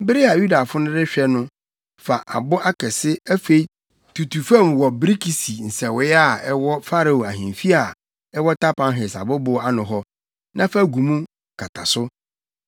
“Bere a Yudafo no rehwɛ no, fa abo akɛse, afei tutu fam wɔ birikisi nsɛwee a ɛwɔ Farao ahemfi a ɛwɔ Tapanhes abobow ano hɔ, na fa gu mu kata so.